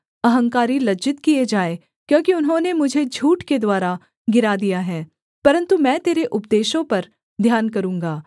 अहंकारी लज्जित किए जाए क्योंकि उन्होंने मुझे झूठ के द्वारा गिरा दिया है परन्तु मैं तेरे उपदेशों पर ध्यान करूँगा